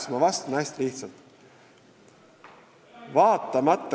Siis ma vastan hästi lihtsalt.